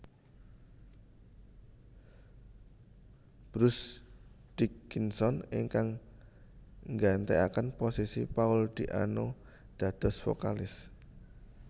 Bruce Dickinson ingkang gantekaken posisi Paul Di Anno dados vokalis